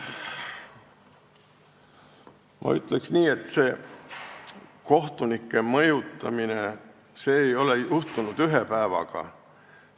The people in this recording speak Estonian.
Ma ütleks nii, et see kohtunike mõjutamine ei ole toimunud ühe päevaga.